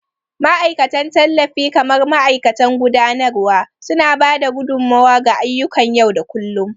Ma'aikatan tallafi kamar mataimakan gudanarwa, suna ba da gudummawa ga ayyukan yau da kullun.